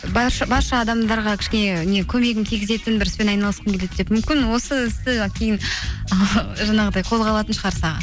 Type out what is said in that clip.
барша адамдарға кішкене не көмегім тигізетін бір іспен айналысқым келеді деп мүмкін осы істі кейін жаңағыдай қолға алатын шығарсыз аға